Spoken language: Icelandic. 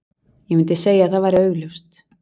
Ég myndi segja að það væri augljóst.